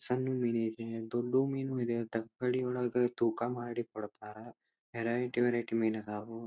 ಸಣ್ಣ ಮೀನು ಐತೆ ದೊಡ್ದು ಮೀನು ಇದೆ ತಕ್ಕಡಿ ಒಳಗ ತೂಕ ಮಾಡಿ ಕೊಡ್ತಾರಾ ವೆರೈಟಿ ವೆರೈಟಿ ಮೀನ್ ಅದಾವು--